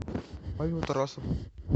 павел тарасов